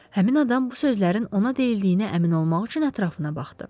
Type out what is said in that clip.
Həmin adam bu sözlərin ona deyildiyinə əmin olmaq üçün ətrafına baxdı.